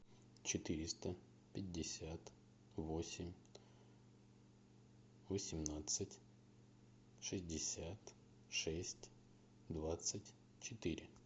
четыреста пятьдесят восемь восемнадцать шестьдесят шесть двадцать четыре